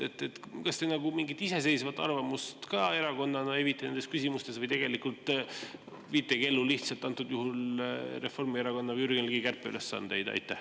Kas te mingit iseseisvat arvamust ka erakonnana evite nendes küsimustes või viitegi ellu lihtsalt antud juhul Reformierakonna või Jürgen Ligi kärpeülesandeid?